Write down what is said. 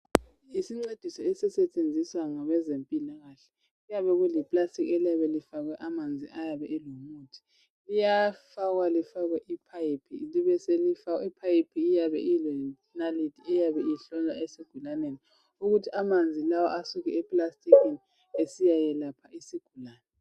Isincediso esisetshenziswa ngabezempilakahle kuyabe kuliplastiki eliyabe lifakwe amanzi ayabe elomuthi. Liyafakwa lifakwe iphayiphi libe selifakwa iphayiphi iyabe ilenaliti eyabe ihlonywa esigulaneni ukuthi amanzi lawa asuke eplastikini esiyayelapha isigulane.